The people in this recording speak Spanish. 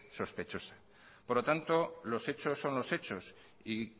sospechosa por lo tanto los hechos son los hechos y